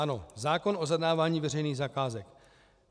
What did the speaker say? Ano, zákon o zadávání veřejných zakázek.